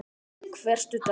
Hver studdi annan.